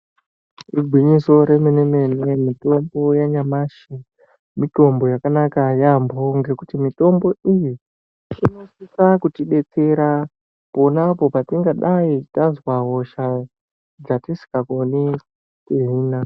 Igwinyiso remene mene mitombo yenyamashi mitombo yakanaka yambo ngekuti mitombo iyi inosisa kuti detsera pona apo patinenge tanzwa hosha yatisinga koni kuhina.